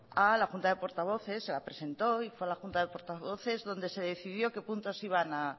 a la junta de portavoces la presentó y fue a la junta de portavoces donde se decidió qué puntos iban a